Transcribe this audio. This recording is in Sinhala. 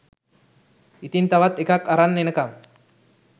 ඉතින් තවත් එකක් අරන් එනකම්